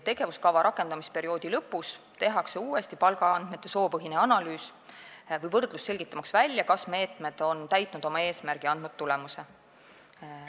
Tegevuskava rakendamise perioodi lõpus tehakse uuesti palgaandmete soopõhine analüüs või võrdlus, selgitamaks välja, kas meetmed on täitnud oma eesmärgi ja andnud tulemuse.